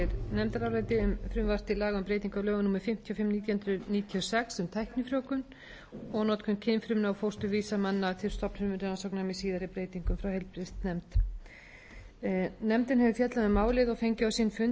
og sex um tæknifrjóvgun og notkun kynfrumna og fósturvísa manna til stofnfrumurannsókna með síðari breytingu frá heilbrigðisnefnd nefndin hefur fjallað um málið og fengið sinn fund áslaugu einarsdóttur frá heilbrigðisráðuneyti ágúst geir ágústsson formann nefnarinnar sem